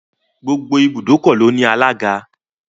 Gbogbo ibùdókọ̀ ló ní alága.